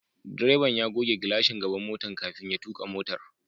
Direban ya goge glashin gaban motan kafin ya tuka motar.